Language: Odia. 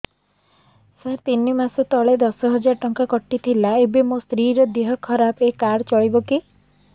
ସାର ତିନି ମାସ ତଳେ ଦଶ ହଜାର ଟଙ୍କା କଟି ଥିଲା ଏବେ ମୋ ସ୍ତ୍ରୀ ର ଦିହ ଖରାପ ଏ କାର୍ଡ ଚଳିବକି